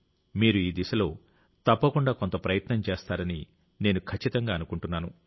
మీరు ఈ దిశలో తప్పకుండా కొంత ప్రయత్నం చేస్తారని నేను ఖచ్చితంగా అనుకుంటున్నాను